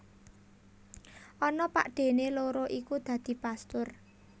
Ana pakdhéné loro iku dadi pastur